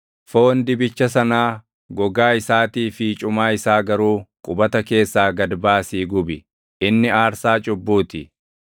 Foon dibicha sanaa, gogaa isaatii fi cumaa isaa garuu qubata keessaa gad baasii gubi. Inni aarsaa cubbuu ti.